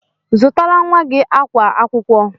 Zụtara nwa gị akwa akwụkwọ!